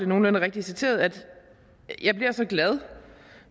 nogenlunde rigtigt citeret jeg bliver så glad